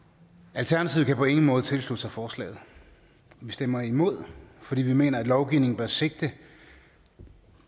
alternativet kan på ingen måde tilslutte sig forslaget vi stemmer imod fordi vi mener at lovgivningen bør sigte